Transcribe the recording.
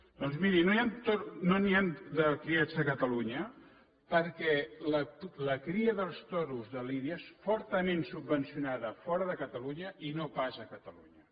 doncs miri no n’hi han de criats a catalunya perquè la cria dels toros de lidia és fortament subvencionada fora de catalunya i no pas a catalunya